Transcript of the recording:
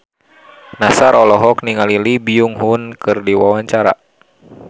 Nassar olohok ningali Lee Byung Hun keur diwawancara